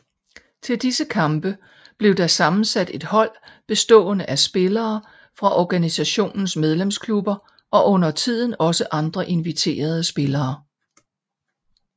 Til disse kampe blev der sammensat et hold bestående af spillere fra organisationens medlemsklubber og undertiden også andre inviterede spillere